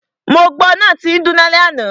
Mo gbọ́ náà tín dún lálẹ́ àná.